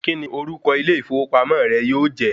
Kí ni orúkọ ilé ìfowópamọ́ rẹ yóò jẹ́?